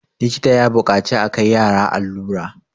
likita ya buƙaci a Kai yara allura